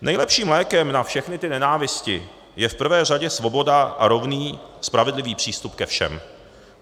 Nejlepším lékem na všechny ty nenávisti je v prvé řadě svoboda a rovný spravedlivý přístup ke všem.